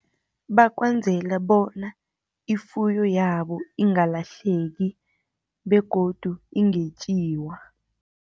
Bakwenzele bona, ifuyo yabo ingalahleki, begodu ingetjiwa.